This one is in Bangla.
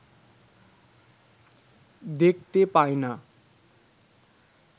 দেখতে পায় না